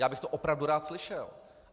Já bych to opravdu rád slyšel.